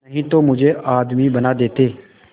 नहीं तो मुझे आदमी बना देते